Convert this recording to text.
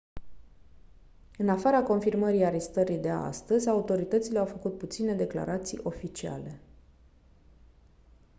în afara confirmării arestării de astăzi autoritățile au făcut puține declarații oficiale